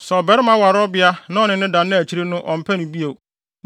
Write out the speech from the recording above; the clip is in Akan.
Sɛ ɔbarima ware ɔbea na ɔne no da na akyiri no ɔmpɛ no bio,